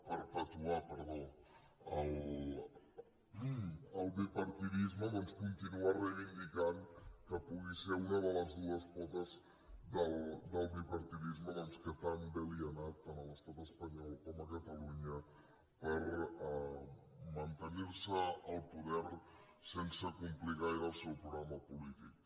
perpetuar perdó el bipartidisme doncs continua reivindicant que pugui ser una de les dues potes del bipartidisme que tan bé li ha anat a l’estat espanyol com a catalunya per mantenir se al poder sense complir gaire el seu programa polític